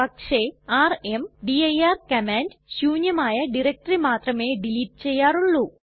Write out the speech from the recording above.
പക്ഷെ rmdir command ശൂന്യമായ directory മാത്രമേ ഡിലീറ്റ് ചെയ്യാറുള്ളൂ